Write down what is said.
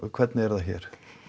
hvernig er það hér